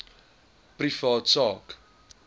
privaat sak